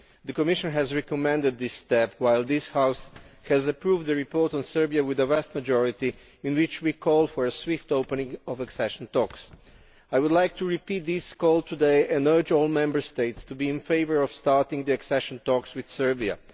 The Commission has recommended this step, while this House has approved the report on Serbia with an overwhelming majority in which we call for a swift opening of accession talks. I would like to repeat this call today and urge all Member States to be in favour of starting accession talks with Serbia.